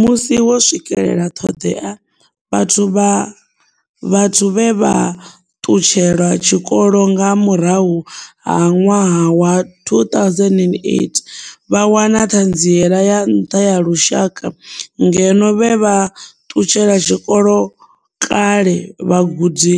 Musi vho swikela ṱhoḓea, vhathu vhe vha ṱutshela tshikolo nga murahu ha ṅwaha wa 2008 vha wana Ṱhanziela ya Nṱha ya Lushaka ngeno vhe vha ṱutshela tshikolo kale vhagudi